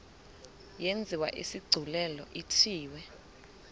yenziwe isigculelo ithiwe